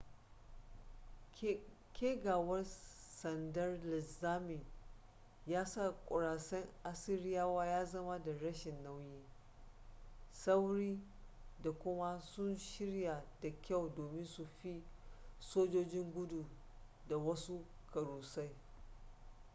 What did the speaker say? kegawar sandar linzamin ya sa kurasain assiriyawa ya zama da rashin nauyi sauri da kuma sun shirya da kyau domin su fi sojoji gudu da wasu kurasain